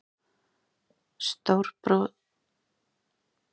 Stórskorinn maður opnaði og varð að orði:-Biskup Jón með sína menn.